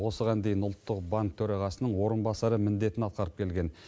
осыған дейін ұлттық банк төрағасының орынбасары міндетін атқарып келген